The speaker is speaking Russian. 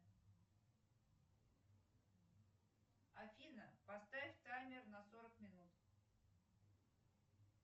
афина поставь таймер на сорок минут